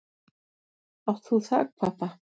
Átt þú þakpappa?